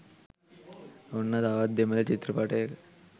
ඔන්න තවත් දෙමල චිත්‍රපටයක